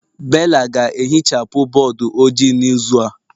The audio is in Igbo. Bella ga-ehichapụ bọọdụ ojii n'izu a